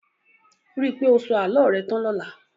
Ríi pé o sọ àlọ́ rẹ tán lọla